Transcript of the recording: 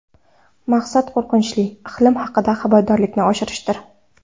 Maqsad qo‘rqinchli iqlim haqida xabardorlikni oshirishdir.